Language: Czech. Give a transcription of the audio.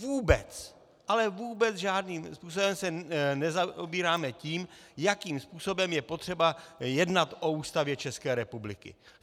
Vůbec, ale vůbec žádným způsobem se nezaobíráme tím, jakým způsobem je potřeba jednat o Ústavě České republiky.